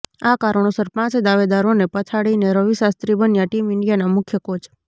આ કારણોસર પાંચ દાવેદારોને પછાડીને રવિ શાસ્ત્રી બન્યા ટીમ ઇન્ડિયાના મુખ્ય કોચ